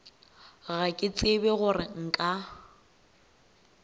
ga ke tsebe gore nka